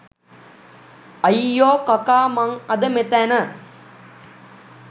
අයියෝ කකා මං අද මෙතැන